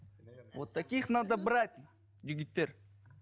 вот таких надо брать жігіттер